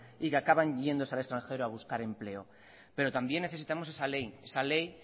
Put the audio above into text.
y que acaban yéndose al extranjero a buscar empleo pero también necesitamos esa ley esa ley